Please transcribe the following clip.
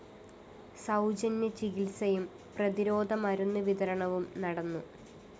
സൗജന്യ ചികിത്സയും പ്രതിരോധ മരുന്ന് വിതരണവും നടന്നു